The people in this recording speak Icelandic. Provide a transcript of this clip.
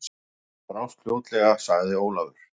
Það brást fljótlega, sagði Ólafur.